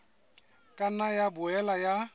ka nna ya boela ya